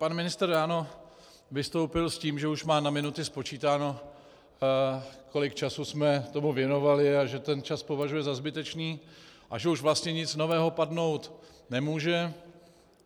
Pan ministr ráno vystoupil s tím, že už má na minuty spočítáno, kolik času jsme tomu věnovali, a že ten čas považuje za zbytečný a že už vlastně nic nového padnout nemůže.